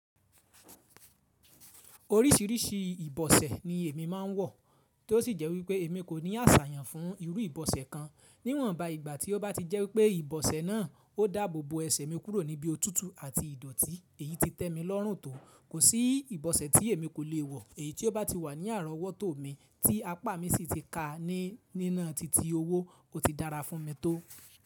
Oríṣiríṣi ìbọ̀sẹ̀ ni èmi máa ń wọ̀, tí ó sì jẹ́ wípé èmi kò ní àṣàyàn fún irú ìbọ̀sẹ̀ kan. Níwọ̀nba, ìgbà tí ó bá ti jẹ́ wípé ìbọ̀sẹ̀ náà ó dá abo bo ẹsẹ̀ mi kúrò níbí òtútù àti ìdọ̀tí, èyí ti tẹ́ mi lọ́rùn tó. Kò sí ìbọ̀sẹ̀ tí èmi kò le wọ̀, èyí tí ó bá ti wà ní àrọ̀wọ́tò mi tí apá mi sì ti ká a ní nína titi owó kò ti dára fún mi tó.